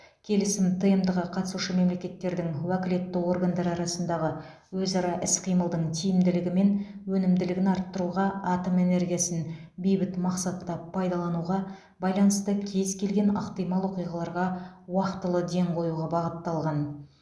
келісім тмд ға қатысушы мемлекеттердің уәкілетті органдары арасындағы өзара іс қимылдың тиімділігі мен өнімділігін арттыруға атом энергиясын бейбіт мақсатта пайдалануға байланысты кез келген ықтимал оқиғаларға уақтылы ден қоюға бағытталған